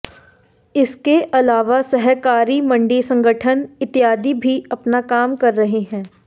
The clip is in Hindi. इसके अलावा सहकारी मंडी संगठन इत्यादि भी अपना काम कर रहे हैं